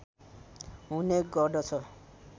हुने गर्दछ